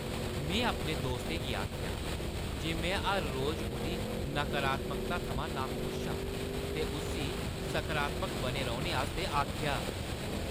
में अपने दोस्तै गी आखेआ जे में हर रोज उʼदी नकारात्मकता थमां नाखुश आं ते उस्सी सकारात्मक बने रौह्‌ने आस्तै आखेआ।